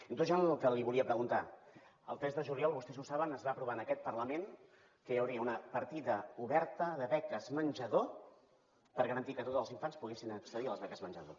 i entrant ja en el que li volia preguntar el tres de juliol vostès ho saben es va aprovar en aquest parlament que hi hauria una partida oberta de beques menjador per garantir que tots els infants poguessin accedir a les beques menjador